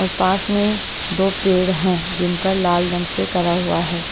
और पास में दो पेड़ हैं जिन पर लाल रंग से करा हुआ है।